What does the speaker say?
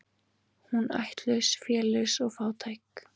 Hún ættlaus, félaus og fátæk.